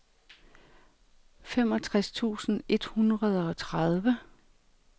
femogtres tusind et hundrede og tredive